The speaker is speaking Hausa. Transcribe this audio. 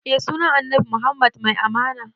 Eh sunan annabi muhammad mai amana